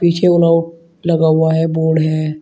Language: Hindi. पीछे ऑल आउट लगा हुआ है बोर्ड है।